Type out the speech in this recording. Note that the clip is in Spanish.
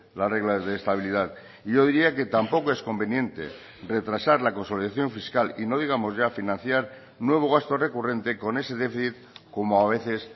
las reglas de estabilidad y yo diría que tampoco es conveniente retrasar la consolidación fiscal y no digamos ya financiar nuevo gasto recurrente con ese déficit como a veces